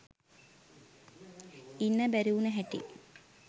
ඉන්න බැරිවුන හැටි.